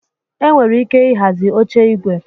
Enwere ike ịhazi oche igwe